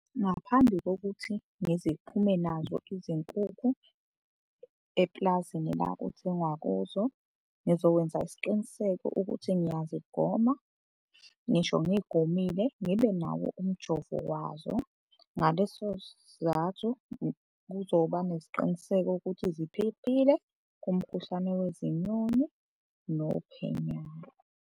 Ngaphambi kokuthi ngiziphume nazo izinkukhu epulazini la kuthengwa kuzo, ngizokwenza isiqiniseko ukuthi ngiyazigoma. Ngisho ngiy'gomile ngibe nawo umjovo wazo. Ngaleso sizathu kuzoba nesiqiniseko ukuthi ziphephile kumkhuhlane wezinyoni nophenyane.